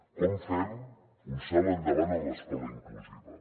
com fem un salt endavant en l’escola inclusiva